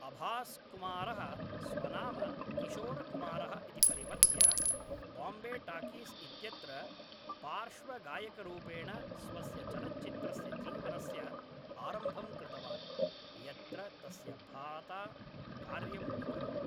अभास् कुमारः स्वनाम 'किशोरकुमारः' इति परिवर्त्य बाम्बे टाकीस् इत्यत्र पार्श्वगायकरूपेण स्वस्य चलच्चित्रस्य जीवनस्य आरम्भं कृतवान्, यत्र तस्य भ्राता कार्यम् अकरोत्।